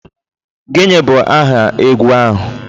Gịnị bụ aha egwu ahụ?